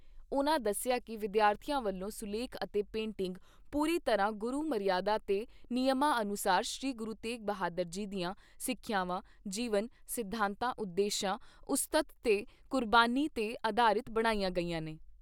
ਉਨ੍ਹਾਂ ਦੱਸਿਆ ਕਿ ਵਿਦਿਆਰਥੀਆਂ ਵੱਲੋਂ ਸੁਲੇਖ ਅਤੇ ਪੇਟਿੰਗ ਪੂਰੀ ਤਰ੍ਹਾਂ ਗੁਰੂ ਮਰਿਆਦਾ ਤੇ ਨਿਯਮਾਂ ਅਨੁਸਾਰ ਸ੍ਰੀ ਗੁਰੂ ਤੇਗ ਬਹਾਦਰ ਜੀ ਦੀਆਂ ਸਿੱਖਿਆਵਾਂ, ਜੀਵਨ, ਸਿਧਾਂਤਾਂ, ਉਦੇਸ਼ਾਂ, ਉਸਤਤ ਤੇ ਕੁਰਬਾਨੀ 'ਤੇ ਅਧਾਰਿਤ ਬਣਾਈਆਂ ਗਈਆਂ ਨੇ।